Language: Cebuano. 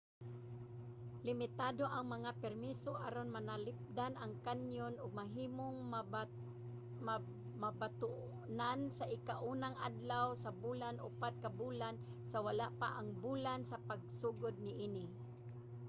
limitado ang mga permiso aron mapanalipdan ang kanyon ug mahimong mabatonan sa ika-unang adlaw sa bulan upat ka bulan sa wala pa ang bulan sa pagsugod niini